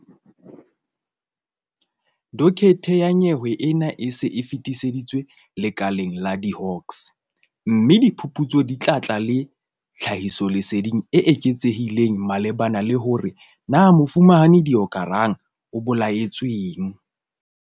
Dokethe ya nyewe ena e se e fetiseditswe lekaleng la di-Hawks, mme diphuputso di tla tla le tlhahisoleseding e eketsehileng malebana le hore na Mofumahadi Deokaran o bolaetsweng.